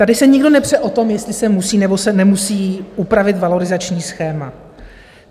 Tady se nikdo nepře o tom, jestli se musí, nebo se nemusí upravit valorizační schéma.